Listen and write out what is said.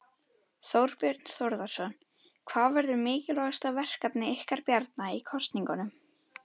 Þorbjörn Þórðarson: Hvað verður mikilvægasta verkefni ykkar Bjarna í kosningunum?